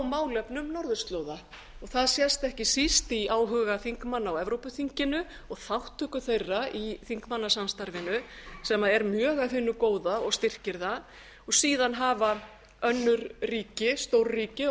á málefnum norðurslóða það sést ekki síst í áhuga þingmanna á evrópuþinginu og þátttöku þeirra í þingmannasamstarfinu sem er mjög af hinu góða og styrkir það og síðan hafa önnur ríki stórríki á